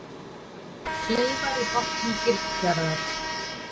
Kleifar í botni Gilsfjarðar.